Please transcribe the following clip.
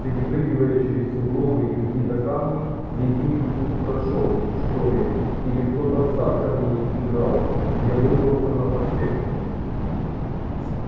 перепрыгивая через сугробы и какие-то камни ледник тут прошёл что ли или ктото в сад камней играл я выбрался на проспект